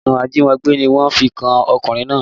Ẹ̀sùn ajímọgbé ni wọ́n fi kan ọkùnrin náà